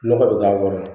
Nɔgɔ bɛ k'a kɔrɔ